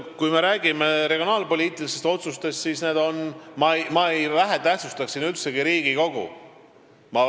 Kui me räägime regionaalpoliitilistest otsustest, siis ma üldsegi ei vähetähtsustaks siin Riigikogu.